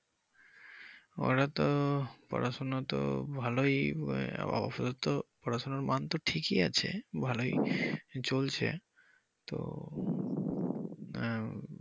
ওরা তো পড়াশুনা তো খুব ভালোই ওদের পড়াশুনার মান তো ঠিকই আছে খুব ভালোই চলছে তো আহ